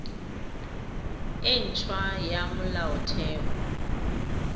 e nt hwa ya molaotheo